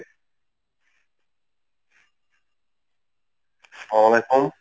সালাম আলাইকুম।